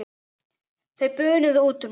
Þau bunuðu út úr mér.